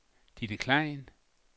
Ditte Klein